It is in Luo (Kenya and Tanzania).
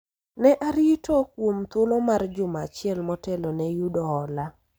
ne arito kuom thuolo mar juma achiel motelo ne yudo hola